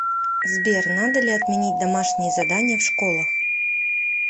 сбер надо ли отменить домашние задания в школах